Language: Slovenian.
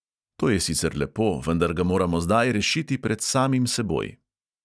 To je sicer lepo, vendar ga moramo zdaj rešiti pred samim seboj!